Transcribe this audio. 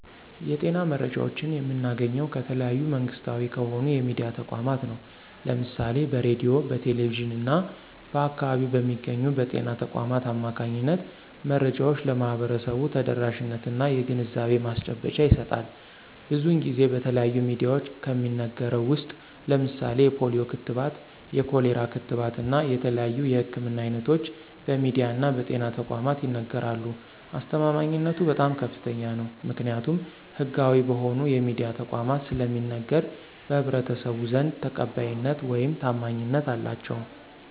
የጤና መረጃዎችን የምናገኘው ከተለያዩ መንግስታዊ ከሆኑ የሚድያ ተቋማት ነው። ለምሳሌ በሬድዮ፣ በቴሌቪዥን እና በአካባቢው በሚገኙ በጤና ተቋማት አማካኝነት መረጃዎች ለህብረተሰቡ ተደራሽነት እና የግንዛቤ ማስጨበጫ ይሰጣል። ብዙን ጊዜ በተለያዩ ሚድያዎች ከሚነገረው ውስጥ ለምሳሌ የፖሊዮ ክትባት፣ የኮሌራ ክትባት እና የተለያዩ የህክምና አይነቶች በሚድያ እና በጤና ተቋማት ይነገራሉ። አስተማማኝነቱ በጣም ከፍተኛ ነው። ምክኒያቱም ህጋዊ በሆኑ የሚድያ ተቋማት ስለሚነገር በህብረተሰቡ ዘንድ ተቀባይነት ውይም ታማኝነት አላቸው።